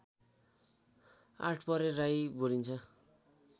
आठपरे राई बोलिन्छ